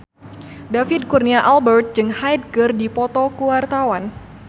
David Kurnia Albert jeung Hyde keur dipoto ku wartawan